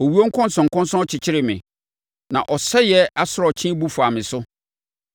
Owuo nkɔnsɔnkɔnsɔn kyekyeree me; na ɔsɛeɛ asorɔkye bu faa me so.